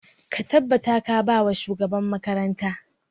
Ka tabbata ka ba wa shugaban makaranta!